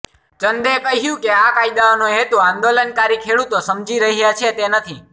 ચંદે કહ્યું કે આ કાયદાઓનો હેતુ આંદોલનકારી ખેડૂતો સમજી રહ્યા છે તે નથી